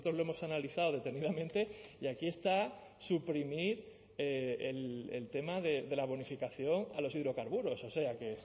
lo hemos analizado detenidamente y aquí está suprimir el tema de la bonificación a los hidrocarburos o sea que